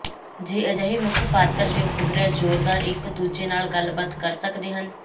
ਜੇ ਅਜਿਹੇ ਮੁੱਖ ਪਾਤਰ ਦੇ ਉਪਗ੍ਰਹਿ ਜ਼ੋਰਦਾਰ ਇਕ ਦੂਜੇ ਨਾਲ ਗੱਲਬਾਤ ਕਰ ਸਕਦੇ ਹਨ